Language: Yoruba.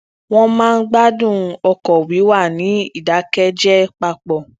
wón máa ń gbadun ọkọ wiwa ni idakẹjẹ papọ